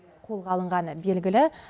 қолға алынғаны белгілі